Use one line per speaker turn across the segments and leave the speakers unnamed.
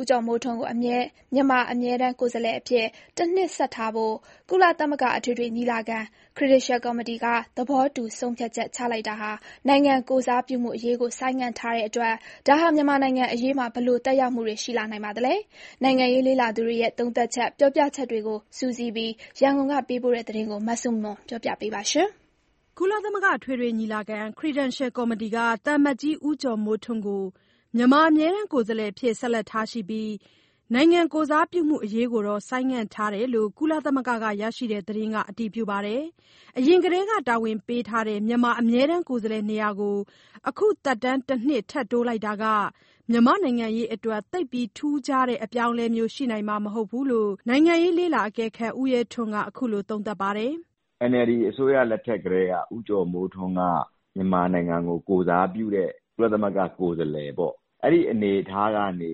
ဦးကျော်မိုးထွန်းကို မြန်မာအမြဲတမ်း ကိုယ်စားလှယ်အဖြစ် တနှစ်ဆက်ထားဖို့ ကုလသမဂ္ဂအထွေထွေညီလာခံ Credential ကော်မတီက သဘောတူဆုံးဖြတ်ချက်လိုက်တာဟာ နိုင်ငံကိုယ်စားပြုမှုအရေးကို ဆိုင်းငံ့ထားတဲ့အတွက် ဒါဟာ မြန်မာနိုင်ငံအရေးမှာ ဘယ်လိုသက်ရောက်မှုတွေ ရှိလာနိုင်ပါသလဲ။ နိုင်ငံရေးလေ့လာသူတွေရဲ့ သုံးသပ်ချက်တွေကို ပြောပြချက်ကို စုစည်းပြီး ရန်ကုန်ပေးပို့တဲ့သတင်းကို မဆုမွန်က တင်ပြပေးထားပါတယ်။ ကုလသမဂ္ဂ အထွေထွေညီလာခံ Credential ကော်မတီက သံအမတ်ကြီး ဦးကျော်မိုးထွန်းကို မြန်မာအမြဲတမ်း ကိုယ်စားလှယ်အဖြစ် ဆက်လက်ထားရှိပြီး နိုင်ငံကိုယ်စားပြုမှုအရေးကိုတော့ ဆိုင်းငံ့ထားတယ်လို့ ကုလသမဂ္ဂက ရရှိတဲ့သတင်းက အတည်ပြုပါတယ်။ အရင်ကတည်းက တာဝန်ပေးထားတဲ့ မြန်မာအမြဲတမ်း ကိုယ်စားလှယ်နေရာကို အခု သက်တမ်းတနှစ် ထပ်တိုးလိုက်တာက မြန်မာနိုင်ငံရေးအတွက် သိပ်ပြီးထူးခြားတဲ့ အပြောင်းအလဲမျိုး ရှိနိုင်မှာမဟုတ် ဘူးလို့ နိုင်ငံရေးလေ့လာသူ ဦးရဲထွန်းက အခုလို သုံးသပ်ပါတယ်
။ "NLD အစိုးရလက်ထက်ကတည်းက ဦးကျော်မိုးထွန်းက မြန်မာနိုင်ငံကို ကိုယ်စားပြုတဲ့ ကုလသမဂ္ဂကိုယ်စားလှယ်ပေါ့။ အဲဒီအနေအထားကနေ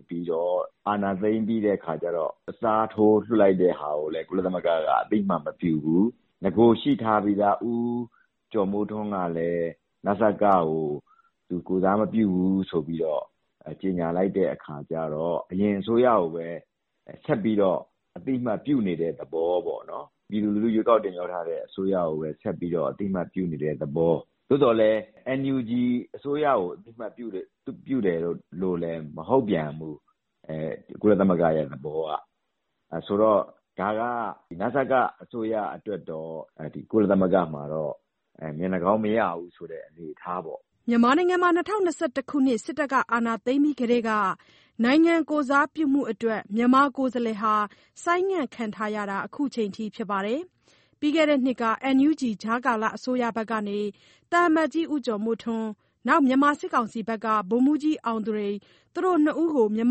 အာဏာသိမ်းပြီးတဲ့အခါကျတော့ အစားထိုးလွှတ်လိုက်တာကိုလည်း ကုလသမဂ္ဂက အသိအမှတ်မပြုဘူး။ နဂိုရှိထားပြီးသား ဦးကျော်မိုးထွန်းကလည်း နစကကို သူကိုယ်စားမပြုဘူးဆိုပြီးတော့ ကြေညာလိုက်တဲ့အခါကျတော့ ပြည်သူလူထု ရွေးကောက်တင်မြှောက်ထားတဲ့အစိုးရကိုပဲ ထပ်ပြီးတော့ အသိအမှတ်ပြုနေတဲ့ သဘောပေါ့နော်။ သို့သော်လည်း ကုလသမဂ္ဂရဲ့သဘောက NUG အစိုးရကို အသိအမှတ်ပြုတယ်လို့လည်း မဟုတ်ပြန်ဘူး။ ဆိုတော့ ဒါက နစကအစိုးရအတွက်တော့ ကုလသမဂ္ဂမှာတော့ မျက်နှာကောင်းမရဘူးဆိုတဲ့ အနေအထားပေါ့။
" ၂၀၂၁ ခုနှစ် စစ်တပ်အာဏာသိမ်းပြီး ကတည်းက နိုင်ငံကိုယ်စားပြုမှုအတွက် မြန်မာကိုယ်စားလှယ်ဟာ ဆိုင်းငံ့ခံထားရတာ အခုချိန်ထိပါ။ ပြီးခဲ့တဲ့နှစ်က NUG ကြားကာလအစိုးရဘက်ကနေ သံအမတ်ကြီး ဦးကျော်မိုးထွန်း၊ မြန်မာစစ်ကောင်စီဘက်က ဗိုလ်မှူးကြီးအောင်သူရိန်တို့ မြန်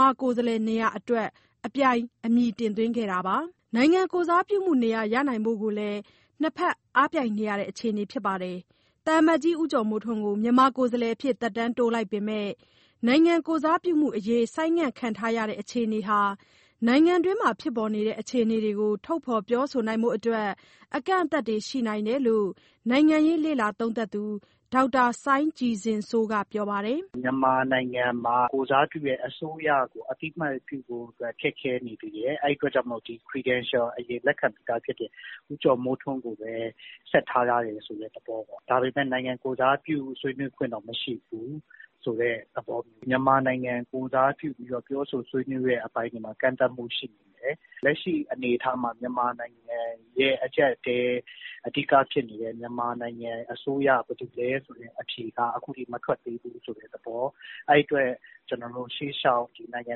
မာကိုယ်စားလှယ်နေရာအတွက် အပြိုင်အမည်တင်သွင်းခဲ့တာပါ။ နိုင်ငံကိုယ်စားပြုမှုနေရာ ရနိုင်ဖို့ကိုလည်း နှစ်ဘက်အားပြိုင်နေရတဲ့ အခြေအနေပါ။ သံအမတ်ကြီး ဦးကျော်မိုးထွန်းကို မြန်မာကိုယ်စားလှယ်အဖြစ် သက်တမ်းတိုးလိုက်ပေမယ့် နိုင်ငံကိုယ်စားပြုမှုအရေး ဆိုင်းငံ့ခံထားရတဲ့အခြေအနေဟာ နိုင်ငံတွင်းမှာဖြစ်ပေါ်နေတဲ့ အခြေအနေတွေကို ထုတ်ဖော်ပြောဆိုဖို့အတွက် အကန့်အသတ်တွေရှိနိုင်တယ်လို့ နိုင်ငံရေးလေ့လာသူ ဒေါက်တာစိုင်းကြည်ဇင်စိုးက ပြောပါတယ်။
"မြန်မာနိုင်ငံမှာ ကိုယ်စားပြုတဲ့အစိုးရကို အသိအမှတ်ပြုဖို့အတွက် ခက်ခဲနေသေးတယ်။ အဲဒီအတွက်ကြောင့် Credential အရင်လက်ခံပြီးသားဖြစ်တဲ့ ဦးကျော်မိုးထွန်းကိုပဲ ဆက်ထားထားတယ်ဆိုတဲ့ သဘောပေါ့။ ဒါပေမဲ့ နိုင်ငံကိုယ်စားပြု ဆွေးနွေးခွင့်တော့ မရှိဘူးဆိုတဲ့သဘော။ မြန်မာနိုင်ငံ ကိုယ်စားပြုပြီးတော့ ပြောဆိုဆွေးနွေးတဲ့အပိုင်းတွေမှာ ကန့်သတ်မှုရှိနိုင်တယ်။ လက်ရှိအနေအထားမှာ မြန်မာနိုင်ငံရဲ့အကြပ်အတည်း အဓိကဖြစ်နေတဲ့ မြန်မာနိုင်ငံအစိုးရ ဘယ်သူလဲဆိုတဲ့အဖြေကို အခုထိမထွက်သေးဘူး ဆိုတဲ့သဘော။ အဲဒီအတွက် ရှေ့လျှောက်နိုင်ငံ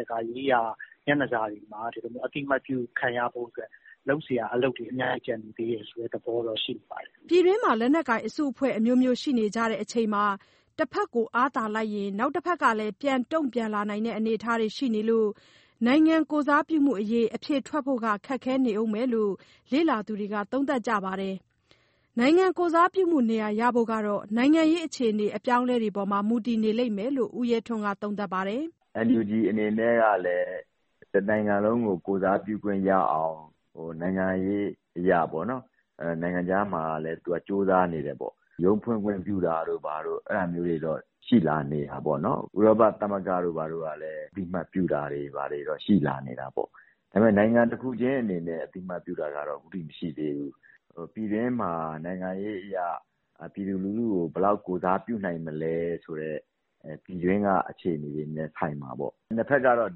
တကာရေးရာ မျက်နှာစာတွေမှာ ဒီလိုမျိုးအသိအမှတ်ပြု ခံရဖို့အတွက် လုပ်စရာအလုပ်တွေ အများကြီးကျန်နေသေးတယ် ဆိုတဲ့သဘောတော့ ရှိနေပါတယ်
။" ပြည်တွင်းမှာ လက်နက်ကိုင်အစုအဖွဲ့ အမျိုးမျိုးရှိနေကြချိန်မှာ တဘက်ကိုအားသာလိုက်ရင် နောက်တဘက်ကလည်း ပြန်တုံ့ပြန်လာနိုင်တဲ့ အနေအထားတွေရှိနေလို့ နိုင်ငံကိုယ်စားပြုမှုအရေး အဖြေထွက်ဖို့ကခက်ခဲနေဦးမယ်လို့ လေ့သာသူတွေက သုံးသပ်ကြပါတယ်။ နိုင်ငံကိုယ်စားပြုမှုနေရာရဖို့က နိုင်ငံရေးအခြေအနေ အပြောင်းအလဲတွေအပေါ်မှာ မူတည်နေလိမ့်မယ်လို့ ဦးရဲထွန်းက ပြောပါတယ်
။ "NUG အနေနဲ့ကလည်း တနိုင်ငံလုံးကို ကိုယ်စားပြုခွင့်ရအောင် နိုင်ငံရေးအရ နိုင်ငံခြားမှာလည်း ကြိုးစားနေတယ်ပေါ့။ ရုံးဖွင့်ခွင့်ပြုတာတို့တော့ ရှိလာနေတာပေါ့နော်။ ဥရောပသမဂ္ဂတို့ကလည်း အသိအမှတ်ပြုတာတို့ ရှိလာနေတာပေါ့။ ဒါပေမဲ့ နိုင်ငံတခုချင်းအနေနဲ့ အသိအမှတ်ပြုတာကတော့ အခုထိမရှိသေးဘူး။ ပြည်တွင်းမှာ နိုင်ငံရေးအရ ပြည်သူလူထုကို ဘယ်လောက်ထိ ကိုယ်စားပြုနိုင်မလဲဆိုတဲ့ ပြည်တွင်းကအခြေအနေတွေလည်း ဆိုင်မှာပေါ့။ နှစ်ဘက်ကတော့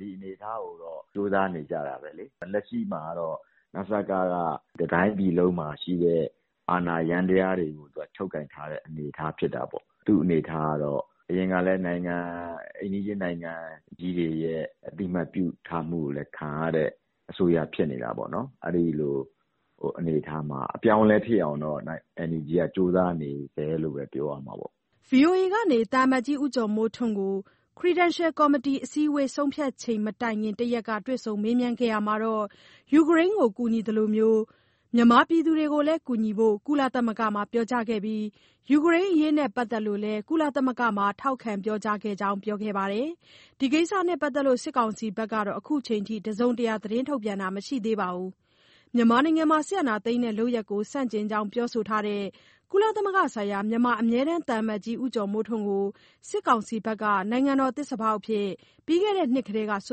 ဒီအနေအထားကိုတော့ ကြိုးစားနေကြတာပဲလေ။ လက်ရှိမှာကတော့ နစက က တတိုင်းပြည်လုံးမှာရှိတဲ့ အာဏာယန္တရားတွေကို ချုပ်ကိုင်ထားတဲ့အနေအထား ဖြစ်တာပေါ့။ သူ့အနေအထားကတော့ အရင်ကလည်း အိမ်နီးချင်းနိုင်ငံကြီးတွေရဲ့ အသိအမှတ်ပြုထားမှုကိုလည်းခံရတဲ့ အစိုးရဖြစ်နေတာပေါ့နော်။ အဲဒီလိုအနေအထားမှာ အပြောင်းအလဲဖြစ်အောင်တော့ NUG က ကြိုးစားနေဆဲဖြစ်တယ်လို့ ပြောရမှာပေါ့။
" ဗွီအိုအေကနေ ဦးကျော်မိုးထွန်းကို Credential ကော်မတီအစည်းအဝေး ဆုံးဖြတ်ချက်မတိုင်ခင် တရက်က တွေ့ဆုံမေးမြန်းခဲ့ရာမှာ ယူကရိန်းကို ကူညီနေသလို မြန်မာပြည်သူတွေကိုလည်း ကူညီဖို့ ကုလသမဂ္ဂမှာ ပြောကြားခဲ့ပြီး ယူကရိန်းအရေးနဲ့ ပတ်သက်လို့လည်း ကုလသမဂ္ဂမှာ ထောက်ခံပြောကြားခဲ့ကြောင်း ပြောပါတယ်။ ဒီကိစ္စနဲ့ပတ်သက်လို့ စစ်ကောင်စီဘက်က အခုချိန်ထိ တစုံတရာ သတင်းထုတ်ပြန်တာ မရှိသေးပါဘူး။ မြန်မာနိုင်ငံမှာ စစ်အာဏာသိမ်းတဲ့ လုပ်ရပ်ကိုဆန့်ကျင်ကြောင်း ပြောဆိုထားတဲ့ ကုလသမဂ္ဂဆိုင်ရာ မြန်မာအမြဲတမ်း သံအမတ်ကြီး ဦးကျော်မိုးထွန်းကို စစ်ကောင်စီက နိုင်ငံတော်သစ္စာဖောက်အဖြစ် ပြီးခဲ့တဲ့နှစ်ကတည်းက စွ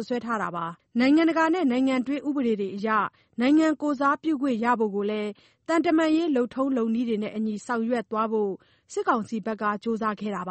ပ်စွဲထားတာပါ။ နိုင်ငံတကာနဲ့ နိုင်ငံတွင်း ဥပဒေတွေအရ နိုင်ငံကိုယ်စားပြုခွင့်ရဖို့ကိုလည်း သံတမန်ရေး လုပ်ထုံးလုပ်နည်းတွေနဲ့အညီ ဆောင်ရွက်သွားဖို့ စစ်ကောင်စီဘက်က ကြိုးပမ်းခဲ့တာပါ